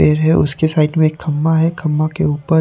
area उसके side में खम्मा है खम्मा के ऊपर--